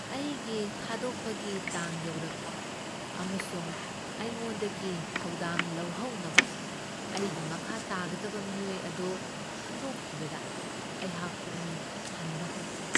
ꯑꯩꯒꯤ ꯊꯥꯗꯣꯛꯄꯒꯤ ꯇꯥꯡ ꯌꯧꯔꯛꯄ ꯑꯃꯁꯨꯡ ꯑꯩꯉꯣꯟꯗꯒꯤ ꯊꯧꯗꯥꯡ ꯂꯧꯍꯧꯅꯕ ꯑꯩꯒꯤ ꯃꯈꯥ ꯇꯥꯒꯗꯕ ꯃꯤꯑꯣꯏ ꯑꯗꯨ ꯈꯪꯗꯣꯛꯈꯤꯕꯗ ꯑꯩꯍꯥꯛ ꯄꯨꯛꯅꯤꯡ ꯍꯟꯕ ꯍꯧꯈꯤ꯫